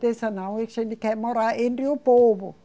Não, a gente quer morar entre o povo.